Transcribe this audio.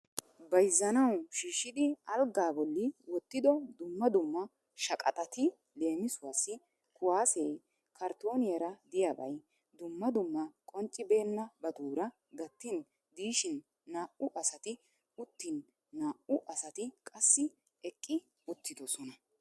Bayzzanawu shiishshidi alggaa bolli wottido dumma dumma shaqaxatti leemisuwaassi kuwaasee, kartooniyaara diyabay, dumma dumma qonccibeennabaatuura gattin diishiin naa'u asatti uttin naa'u asatti qassi eqqi uttidosona.